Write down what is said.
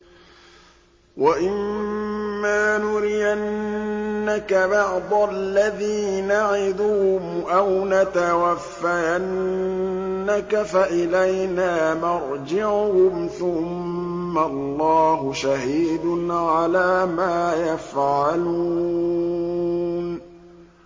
وَإِمَّا نُرِيَنَّكَ بَعْضَ الَّذِي نَعِدُهُمْ أَوْ نَتَوَفَّيَنَّكَ فَإِلَيْنَا مَرْجِعُهُمْ ثُمَّ اللَّهُ شَهِيدٌ عَلَىٰ مَا يَفْعَلُونَ